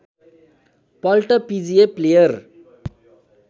पल्ट पिजिए प्लेयर